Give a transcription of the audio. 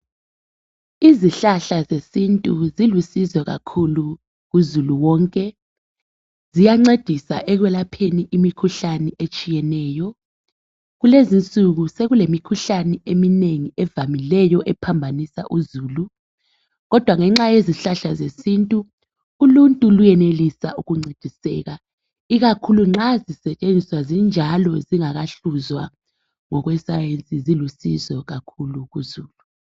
izihlahla zesintu zilusizo kakhulu kuzulu wonke ziyancedisa ekwelapheni imikhuhlane etshiyeneyo kulezinsuku sekulemikhuhlane eminengi evamileyo ephambanisa uzulu kodwa ngenxa yezihlahla zesintu uluntu luyenelisa ukuncediseka ikakhulu nxa zisetshenziswa zinjalo zingakahluzwa ngokwe science zilusizo kakhulu kuzulu